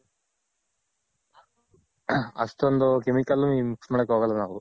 ಅಷ್ಟೊಂದ್ Chemical ಏನು Mix ಮಾಡಕ್ ಹೋಗೋಲ್ಲ ನಾವು.